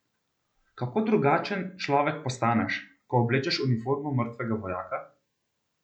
Kako drugačen človek postaneš, ko oblečeš uniformo mrtvega vojaka?